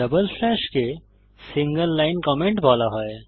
double স্ল্যাশকে single line comment বলা হয়